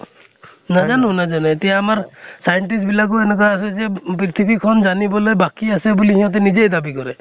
নাজানো নাজানো । এতিয়া আমাৰ scientist বিলাকো এনেকুৱা আছে যে পৃথিৱীখন জানিবলে বাকী আছে বুলি, সিহঁতে নিজেই দাবী কৰে ।